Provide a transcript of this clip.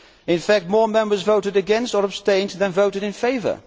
In fact more Members voted against or abstained than voted in favour.